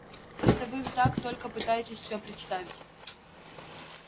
это вы так только пытаетесь все представить